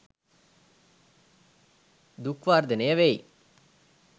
දුක් වර්ධනය වෙයි.